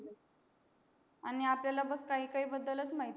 आणि आपल्याला फक्त काही काही बद्दल माहिती आहे